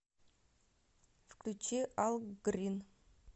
включи ал грин